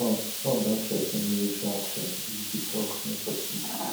trump trump don threa ten military action if di talks no succeed